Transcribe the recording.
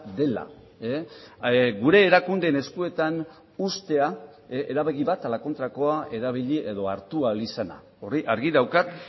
dela gure erakundeen eskuetan uztea erabaki bat ala kontrakoa erabili edo hartu ahal izana hori argi daukat